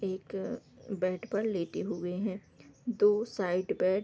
एक बेड पर लेटे हुए हैं दो साइड बेड --